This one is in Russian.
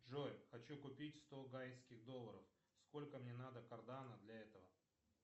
джой хочу купить сто гайских долларов сколько мне надо кардана для этого